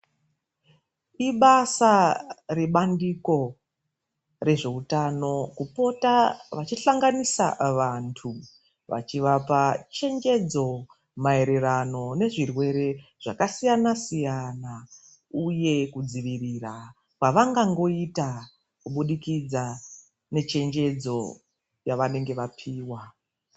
Ibasa rebandiko rezveutano kupota vachihlanganisa vanthu vachivapa chenjedzo maererano nezvirwere zvakasiyana siyana uye kudzivirira kwavangaita kuburikidza nechenjedzo yavanenge vapiwa.